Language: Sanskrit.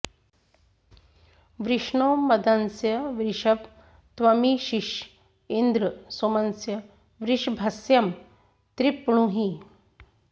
वृष्णो॒ मद॑स्य वृषभ॒ त्वमी॑शिष॒ इन्द्र॒ सोम॑स्य वृष॒भस्य॑ तृप्णुहि